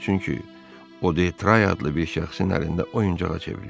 Çünki o de Tray adli bir şəxsin əlində oyuncağa çevrilib.